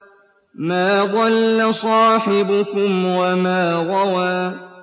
مَا ضَلَّ صَاحِبُكُمْ وَمَا غَوَىٰ